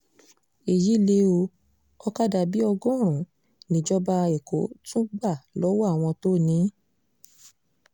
èyí lé o òkadà bíi ọgọ́rùn-ún níjọba èkó tún gbà lọ́wọ́ àwọn tó ní in